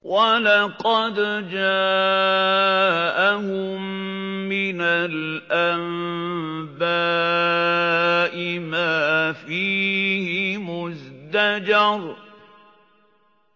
وَلَقَدْ جَاءَهُم مِّنَ الْأَنبَاءِ مَا فِيهِ مُزْدَجَرٌ